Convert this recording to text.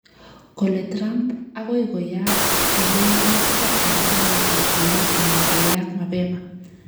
Kale Trump agoi koyaak tuyenoto eng arawetab lo ana koyaak mabema